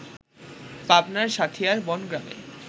পাবনার সাঁথিয়ার বনগ্রামে